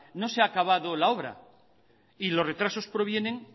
no se ha acabado la obra y los retrasos provienen